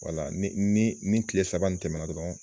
Wala ni ni ni kile saba in tɛmɛna dɔrɔn.